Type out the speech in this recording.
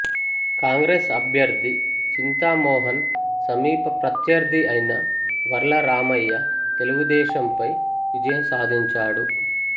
కాంగ్రెస్ అభ్యర్థి చింతామోహన్ సమీప ప్రత్యర్థి అయిన వర్ల రామయ్య తెలుగుదేశం పై విజయం సాధించాడు